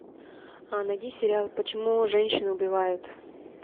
найди сериал почему женщины убивают